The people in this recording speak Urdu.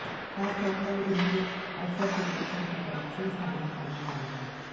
خاص طور پر ان کے السر کے بچوں کی طرف سے سامنا کرنا پڑا تھا